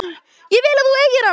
Ég vil að þú eigir hana.